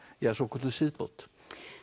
ja svokölluðu siðbót